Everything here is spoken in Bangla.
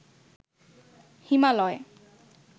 হিমালয়